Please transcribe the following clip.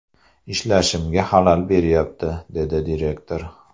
Ishlashimga xalal beryapti”, dedi direktor.